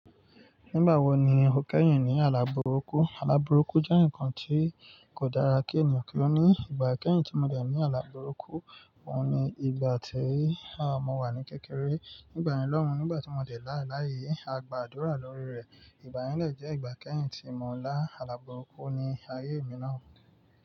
Nígbà wo ni o kẹ́yìn ní alábúrúkú? Alábúrúkú jẹ́ ǹkan tí kò dára kí ènìyàn kí ó ní. Ìgbà kẹ́yìn tí mo dè ní alábúrúkú, òun ni ìgbà tí mo wà ní kékeré. Nígbà yen lọ́hun, nígbà tí mo dé láàlá yìí, a gba àdúrà lórí rẹ̀. Ìgbayen de jẹ́ ìgbà kẹ́yìn tí mo lá alábúrúkú ní ayé mi náà.